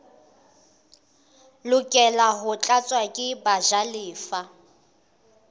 lokela ho tlatswa ke bajalefa